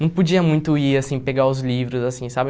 Não podia muito ir, assim, pegar os livros, assim, sabe?